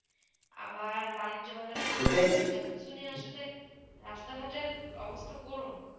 আবার বাণিজ্য বোন শুরু হয়ে এইটা ই সব কিছু নিয়ে আসা দে রাস্তা ঘাটে অবশ্য করুন